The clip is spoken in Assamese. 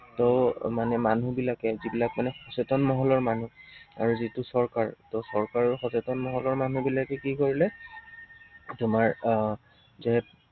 ত মানে মানুহবিলাকে, যিবিলাক মানে সচেতন মহলৰ মানুহ আৰু যিটো চৰকাৰ, ত চৰকাৰ আৰু সচেতন মহলৰ মানুহবিলাকে কি কৰিলে তোমাৰ আহ যে